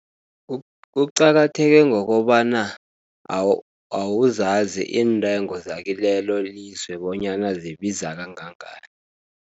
Kuqakatheke ngokobana awuzazi iintengo zakilelo lizwe, bonyana zibiza kangangani.